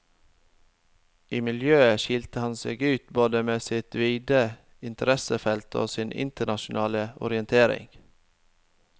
I miljøet skilte han seg ut både med sitt vide interessefelt og sin internasjonale orientering.